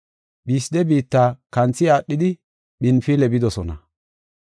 Phisde biitta kanthi aadhidi Phinfile bidosona.